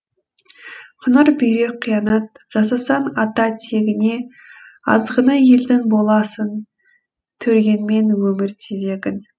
қыңыр бүйрек қиянат жасасаң ата тегіңе азғыны елдің боласың тергенмен өмір тезегін